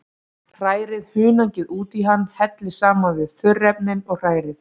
Hrærið hunangið út í hann, hellið saman við þurrefnin og hrærið.